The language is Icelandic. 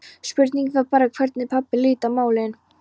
Spurningin var bara hvernig pabbi liti á málin.